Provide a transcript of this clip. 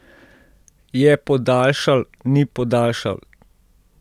Je podaljšal, ni podaljšal?